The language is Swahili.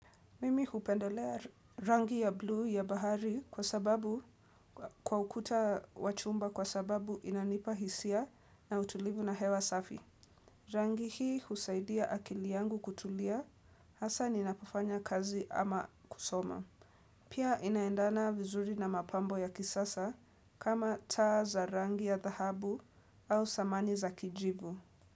Mimi hupendelea rangi ya blue ya bahari kwa sababu kwa ukuta wachumba kwa sababu inanipa hisia na utulivu na hewa safi. Rangi hii husaidia akili yangu kutulia hasa ninapofanya kazi ama kusoma. Pia inaendana vizuri na mapambo ya kisasa kama taa za rangi ya dhahabu au samani za kijivu.